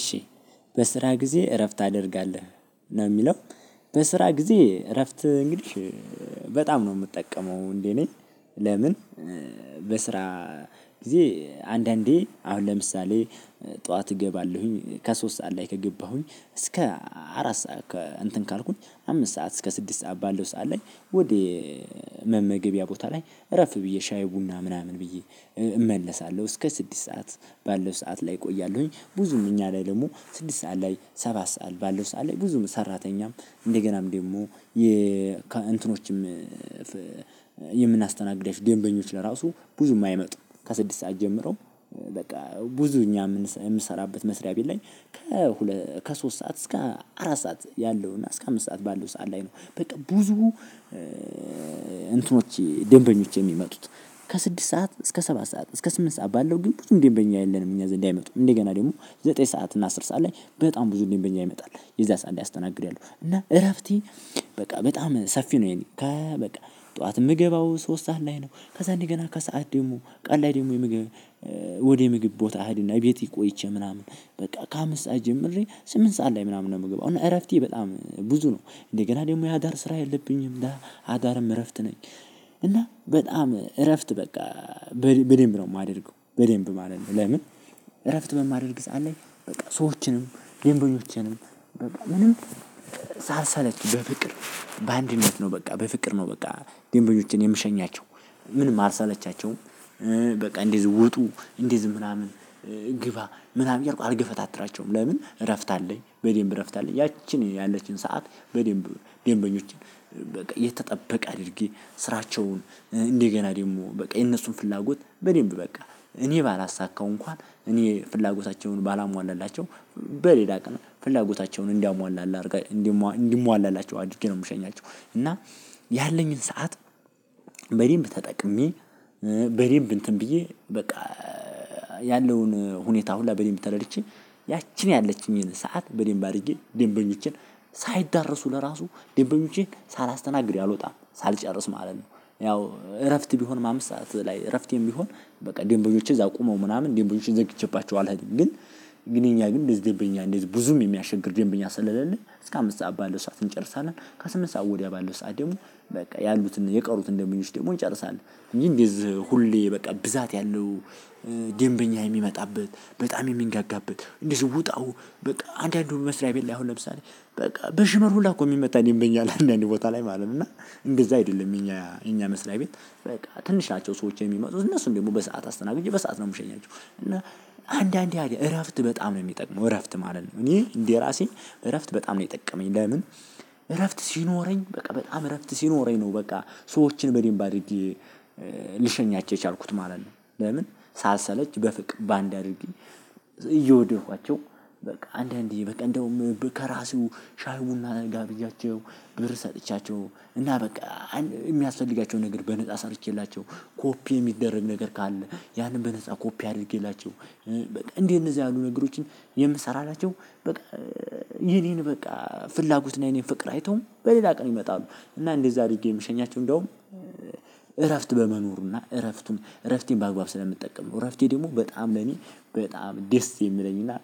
እሺ በስራ ጊዜ እረፍት አደርጋለሁ ነው የሚለው? በስራ ጊዜ እረፍት እንግዲህ በጣም ነው ምጠቀመው እንዴ? እኔ ለምን በስራ ጊዜ አንዳንዴ አሁን ለምሳሌ ጠዋት እገባለሁኝ ከሶስት ሰዓት ላይ ከገባሁኝ እስከ አራት ሰዓት ከእንትን ካልኩኝ አምስት ሰዓት እስከ ስድስት ሰዓት ባለው ሰዓት ላይ ወደ መመገቢያ ቦታ ላይ አረፍ ብዬ ሻይ ቡና ምናምን ብዬ። እመለሳለሁ እስከ ስድስት ሰዓት ባለው ሰዓት ላይ እቆያለሁኝ። ብዙም እኛ ላይ ደግሞ ስድስት ሰዓት ላይ ሰባት ሰዓት ባለው ሰዓት ላይ ብዙ ሰራተኛም እንደገናም ደግሞ የ እንትኖችም የምናስተናግዳችሁ ደንበኞች ለራሱ ብዙም አይመጡም ከስድስት ሰዓት ጀምሮ በቃ ብዙ እኛ ምሰራበት መስሪያ ቤት ላይ። ከሶስት ሰዓት እስከ አራት ሰዓት ያለው እና እስከ አምስት ሰዓት ባለው ሰዓት ላይ ነው። በቃ ብዙ እንትኖች ደንበኞች የሚመጡት ከስድስት ሰዓት እስከ ሰባት ሰዓት እስከ ስምንት ሰዓት ባለው ግን ብዙም ደንበኛ የለንም። እኛ ዘንድ አይመጡም እንደገና ደግሞ ዘጠኝ ሰዓት እና አስር ሰዓት ላይ በጣም ብዙ ደንበኛ ይመጣል። የዛ ሰዓት አስተናግዳለሁ ያለው እና እረፍቴ በቃ በጣም ሰፊ ነው። የኔ ከ በቃ ጠዋት ምገባው ሶስት ሰዓት ላይ ነው። ከዛ እንደገና ከሰአት ደግሞ ቀን ላይ ደግሞ የምግብ ወደ ምግብ ቦታ አህድና ቤት ቆይቼ ምናምን በቃ ከአምስት ሰዓት ጀምሬ ስምንት ሰዓት ላይ ምናምን ነው ምገባው እና እረፍቴ በጣም ብዙ ነው። እንደገና ደግሞ የአዳር ስራ የለብኝም እና አዳርም እረፍት ነኝ። እና በጣም እረፍት በቃ በደንብ ነው ማደርገው በደንብ ማለት ነው። ለምን? እረፍት በማደርግ ግዛ አለኝ። በቃ ሰዎችንም ለምንድነው? ምንም ሳልሰለች በፍቅር በአንድነት ነው። በቃ በፍቅር ነው በቃ። ድንበኞችን የምሸኛቸው ምንም አልሰለቻቸውም። በቃ እንደዚህ ውጡ እንደዚህ ምናምን ግባ ምናምን እያልኩ አልገፈታትራቸውም። ለምን እረፍት አለኝ በዴም እረፍት አለኝ። ያቺን ያለችን ሰዓት በደንብ ደንበኞችን በቃ የተጠበቀ አድርጌ ስራቸውን እንደገና ደግሞ በቃ የነሱን ፍላጎት በደንብ በቃ እኔ ባላሳካው እንኳን እኔ ፍላጎታቸውን ባላሟላላቸው። በሌላ ቀን ፍላጎታቸውን እንዳሟላላ እንዲሟላላቸው አድርጌ ነው የምሸኛቸው። እና ያለኝን ሰዓት በዴምብ ተጠቅሜ በዴምብ እንትን ብዬ በቃ ያለውን ሁኔታ ሁላ በዴምብ ተረድቼ ያለችኝን ሰዓት በደንብ አድርጌ ደንበኞችን ሳይዳረሱ ለራሱ ደንበኞቼ ሳላስተናግድ አልወጣም ሳልጨርስ ማለት ነው። ያው እረፍት ቢሆን ማምሳ ላይ እረፍት የሚሆን በቃ ደንበኞችን እዛ ቆመው ምናምን ደንበኞችሽ ዘግቼባቸዋለሁ አልሄድም ግን። ግን እኛ ግን እንደዚህ ደንበኛ እንደዚህ ብዙም የሚያቸግር ደንበኛ ስለሌለን እስከ አምስት ሰዓት ባለው ሰዓት እንጨርሳለን። ከስምንት ሰዓት ወዲያ ባለው ሰዓት ደግሞ በቃ ያሉትን የቀሩትን ደንበኞች ደግሞ እንጨርሳለን። እንጂ እንደዚህ ሁሌ በቃ ብዛት ያለው ደንበኛ የሚመጣበት በጣም የሚንገጋበት እንዲህ ውጣው በቃ አንዳንዱ መስሪያ ቤት ላይ አሁን ለምሳሌ በቃ በሽመል ሁላ እኮ ሚመታ ደምበኛ አለ። አንዳንድ ቦታ ላይ ማለት ነው። እና እንደዛ አይደለም እኛ እኛ መስሪያ ቤት። በቃ ትንሽ ናቸው ሰዎች የሚመጡት እነሱም ደግሞ በሰአት አስተናግጄ በሰአት ነው የምሸኛቸው። እና አንድ አንድ እረፍት በጣም ነው የሚጠቅመው እረፍት ማለት ነው። እኔ እንዴ ራሴ እረፍት በጣም ነው የጠቀመኝ። ለምን? እረፍት ሲኖረኝ በቃ በጣም እረፍት ሲኖረኝ ነው በቃ ሰዎችን በደንብ አድርጌ ልሸኛቸው የቻልኩት ማለት ነው። ለምን? ሳሰለች በፍቅር ባንድ አድርጌ እየወደድኳቸው በቃ አንዳንዴ በቃ እንደውም ከራሱ ሻይ ቡና ጋብዣቸው ብር ሰጥቻቸው እና በቃ የሚያስፈልጋቸውን ነገር በነፃ ሰርቼላቸው ኮፒ የሚደረግ ነገር ካለ ያንን በነፃ ኮፒ አድርጌላቸው። በቃ እንደነዚህ ያሉ ነገሮችን የምሰራላቸው በቃ። የኔን በቃ ፍላጎት ነው የኔን ፍቅር አይቶም በሌላ ቀን ይመጣሉ። እና እንደዛ አድርጌ ምሸኛቸው እንደውም እረፍት በመኖሩ እረፍቱን እረፍቴን በአግባብ ስለምጠቀም ነው። እረፍቴ ደግሞ በጣም ለኔ በጣም ደስ የሚለኝ እና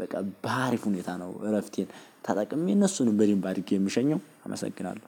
በቃ በአሪፍ ሁኔታ ነው እረፍቴን ታጠቅሜ እነሱንም በድንብ አድርጌ ምሸኘው አመሰግናለሁ።